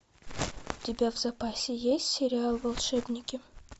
у тебя в запасе есть сериал волшебники